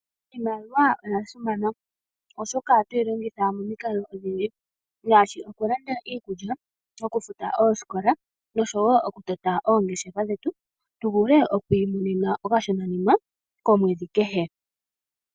Iimaliwa oyasimana, oshoka ohatu yi longitha momikalo odhindji, ngaashi okulanda iikulya, okufuta oosikola noshowo okutota oongeshefa dhetu, tu vule okwiimonena okashonanima komwedhi kehe.